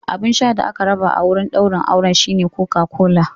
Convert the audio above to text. Abun sha da aka raba a wurin daurin auren shine Coca-Cola.